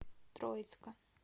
троицка